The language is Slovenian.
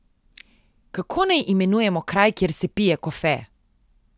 Kako naj imenujemo kraj, kjer se pije kofe?